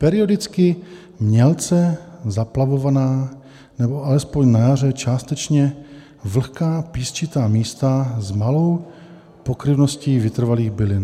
Periodicky mělce zaplavovaná nebo alespoň na jaře dostatečně vlhká písčitá místa s malou pokryvností vytrvalých bylin.